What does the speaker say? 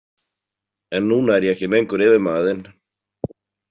En núna er ég ekki lengur yfirmaður þinn.